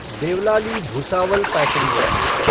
Deolali Bhusawal passenger